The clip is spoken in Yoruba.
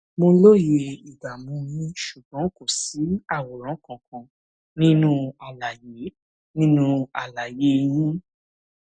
mo lóye ìdààmú yín ṣùgbọn kò sí àwòrán kankan nínú àlàyé nínú àlàyé yín